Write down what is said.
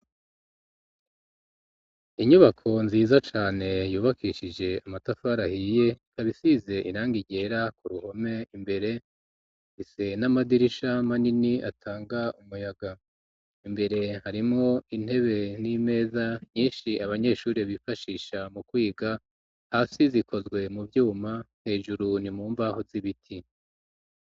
Inyubako nziza cane yubakishije amatafarahiye ikaba isize irangi ryera ku ruhome imbere ise n'amadirisha manini atanga umuyaga imbere harimwo intebe n'imeza nyinshi abanyeshure bifashisha mu kwiga hasi zikozwe mu vyuma hejuru nimumbaho z'ibiti.